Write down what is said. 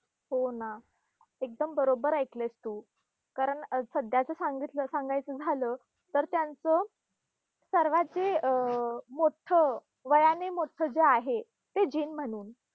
हो ना! एकदम बरोब्बर ऐकलंयस तू. कारण सध्याचं सांगितलं सांगायचं झालं तर त्यांचं सर्वात जे अं मोठ्ठं, वयाने मोठ्ठं जे आहे ते